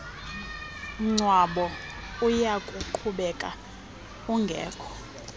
mngcwabo uyakuqhubeka ungekho